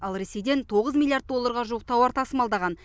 ал ресейден тоғыз миллиард долларға жуық тауар тасымалдаған